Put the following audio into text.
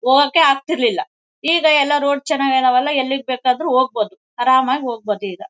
ಹೋಗಕ್ಕೆ ಆಗ್ತಿರ್ಲಿಲ್ಲ ಈಗ ಎಲ್ಲ ರೋಡ್ ಚೆನ್ನಾಗಿ ಇದೆಯಲ್ಲ ಎಲ್ಲಿಗೆ ಬೇಕಾದರೂ ಹೋಗ್ಬಹುದು ಆರಾಮಾಗಿ ಹೋಗ್ಬಹುದು ಈಗ.